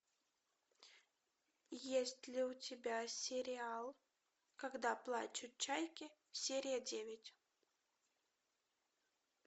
есть ли у тебя сериал когда плачут чайки серия девять